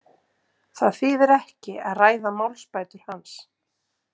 Það þýðir ekki að ræða málsbætur hans.